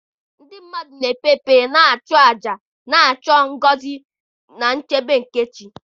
ndị mmadụ na-ekpe ekpere na ịchụ àjà, na-achọ ngọzi na nchebe nke chi.